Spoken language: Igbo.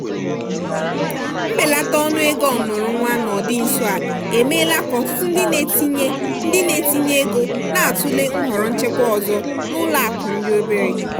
mbelata ọnụego ọmụrụ nwa n'ọdị nso a emeela ka ọtụtụ ndị na-etinye ndị na-etinye ego na-atụle nhọrọ nchekwa ọzọ n'ụlọakụ ndị obere.